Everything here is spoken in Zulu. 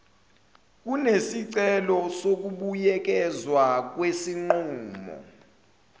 kunesicelo sokubuyekezwa kwesinqumo